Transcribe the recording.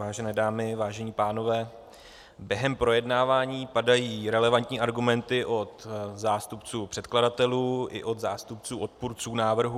Vážené dámy, vážení pánové, během projednávání padají relevantní argumenty od zástupců předkladatelů i od zástupců odpůrců návrhu.